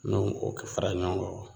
Ni o kɛ fara ɲɔgɔn kɔ